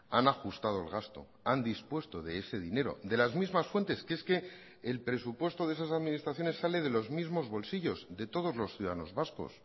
han ajustado el gasto han dispuesto de ese dinero de las mismas fuentes que es que el presupuesto de esas administraciones sale de los mismos bolsillos de todos los ciudadanos vascos